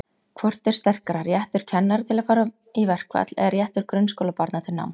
Hvort er sterkara, réttur kennara til að fara í verkfall eða réttur grunnskólabarna til náms?